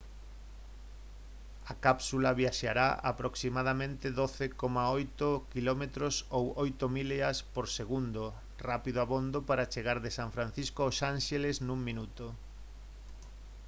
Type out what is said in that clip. a cápsula viaxará a aproximadamente 12,8 km ou 8 millas por segundo rápido abondo para chegar de san francisco aos ánxeles nun minuto